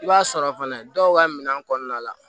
I b'a sɔrɔ fana dɔw ka minɛn kɔnɔna la